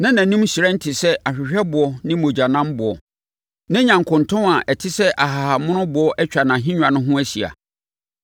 Na nʼanim hyerɛn te sɛ ahwehwɛboɔ ne mogyanamboɔ. Na nyankontɔn a ɛte sɛ ahahammonoboɔ atwa ahennwa no ho ahyia.